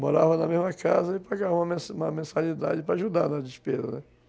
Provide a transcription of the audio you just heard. Morava na mesma casa e pagava uma uma mensalidade para ajudar na despesa, né?